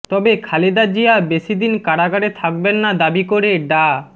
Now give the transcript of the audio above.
তবে খালেদা জিয়া বেশি দিন কারাগারে থাকবেন না দাবি করে ডা